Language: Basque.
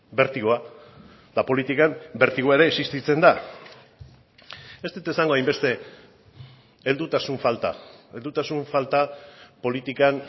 bertigoa eta politikan bertigoa ere existitzen da ez dut esango hainbeste heldutasun falta heldutasun falta politikan